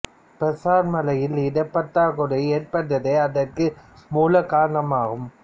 பிரேசர் மலையில் இடப் பற்றாக்குறை ஏற்பட்டதே அதற்கு மூல காரணம் ஆகும்